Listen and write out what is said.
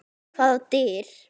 Hvaða dyr?